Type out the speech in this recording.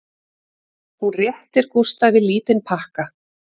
Hún réttir Gústafi lítinn pakka